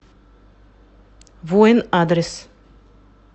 воин адрес